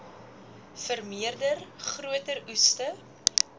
vermeerder groter oeste